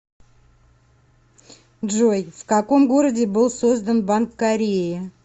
джой в каком городе был создан банк кореи